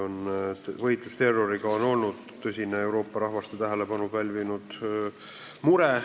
Võitlus terroriga on olnud tõsine Euroopa rahvaste tähelepanu pälvinud mure.